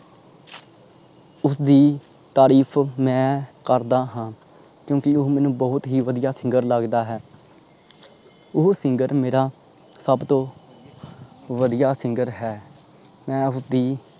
ਉਸਦੀ ਤਾਰੀਫ ਮੈਂ ਕਰਦਾ ਹਾਂ। ਕਿਓਂਕਿ ਉਹ ਮੈਨੂੰ ਬਹੁਤ ਵਧੀਆ singer ਲੱਗਦਾ ਹੈ। ਓਹੋ singer ਮੇਰਾ ਸਬ ਤੋਂ ਵਧੀਆ singer ਹੈ। ਮੈਂ ਉਸਦੀ